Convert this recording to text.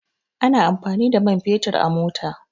Ana amfani da man fetur a mota